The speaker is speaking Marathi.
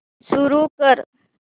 सुरू कर